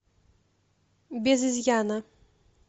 без изъяна